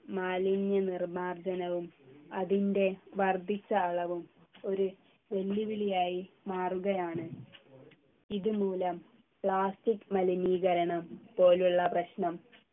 മാലിന്യ നിർമാർജനവും അതിൻ്റെ വർദ്ധിച്ച അളവും ഒരു വെല്ലുവിളിയായി മാറുകയാണ് ഇതുമൂലം plastic മലിനീകരണം പോലുള്ള പ്രശ്നം